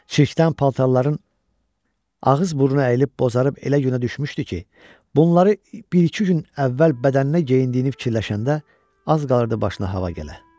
Çirkdən paltarların ağız-burun əyilib bozarıb elə günə düşmüşdü ki, bunları bir-iki gün əvvəl bədəninə geyindiyini fikirləşəndə az qalırdı başına hava gələ.